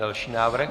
Další návrh.